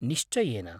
निश्चयेन।